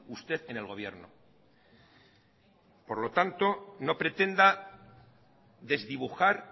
usted en el gobierno por lo tanto no pretenda desdibujar